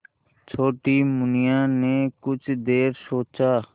छोटी मुनिया ने कुछ देर सोचा